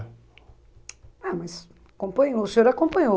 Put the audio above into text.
Ah, mas acompanhou, o senhor acompanhou.